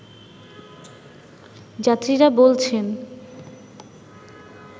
যাত্রীরা বলছেন